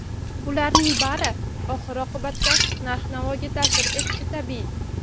Bularning bari oxir-oqibatda narx-navoga ta’sir etishi tabiiy.